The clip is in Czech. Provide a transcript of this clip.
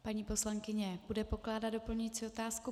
Paní poslankyně bude pokládat doplňující otázku.